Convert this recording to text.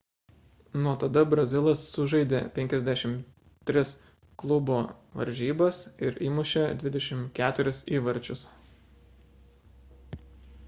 nuo tada brazilas sužaidė 53 klubo varžybas ir įmušė 24 įvarčius